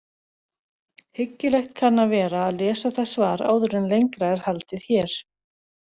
Hyggilegt kann að vera að lesa það svar áður en lengra er haldið hér.